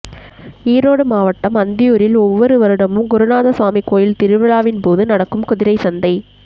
ஈரோடு மாவட்டம் அந்தியூரில் ஒவ்வொரு வருடமும் குருநாத சுவாமி கோயில் திருவிழாவின்போது நடக்கும் குதிரைச் சந்தை